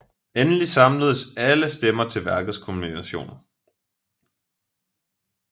Endelig samles alle stemmer til værkets kulminationen